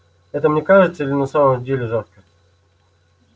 это мне кажется или на самом деле жарко